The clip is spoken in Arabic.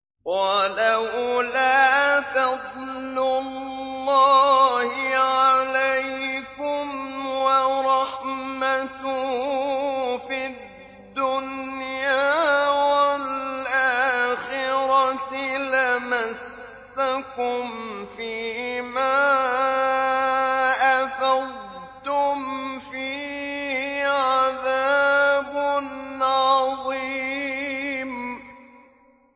وَلَوْلَا فَضْلُ اللَّهِ عَلَيْكُمْ وَرَحْمَتُهُ فِي الدُّنْيَا وَالْآخِرَةِ لَمَسَّكُمْ فِي مَا أَفَضْتُمْ فِيهِ عَذَابٌ عَظِيمٌ